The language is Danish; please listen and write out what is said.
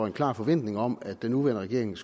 en klar forventning om at den nuværende regering